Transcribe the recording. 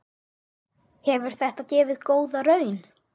Hefur þetta gefið góða raun?